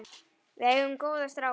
Við eigum góða stráka.